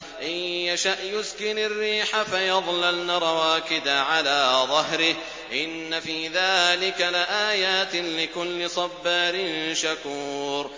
إِن يَشَأْ يُسْكِنِ الرِّيحَ فَيَظْلَلْنَ رَوَاكِدَ عَلَىٰ ظَهْرِهِ ۚ إِنَّ فِي ذَٰلِكَ لَآيَاتٍ لِّكُلِّ صَبَّارٍ شَكُورٍ